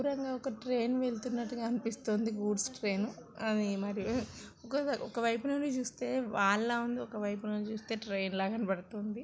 శుభ్రంగా ట్రైన్‌ వెళుతున్నాట్టుగా అనిపిస్తోంది. గూడ్స్ ట్రైన్ అది మరి ఒకసారి ఒక వైపు నుంచి చూస్తే వాల్‌ లా వుంది. ఒక వైపు నుంచి చూస్తే ట్రైన్ లా కనపడుతుంది.